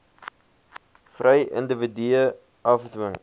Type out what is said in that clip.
vry individue afdwing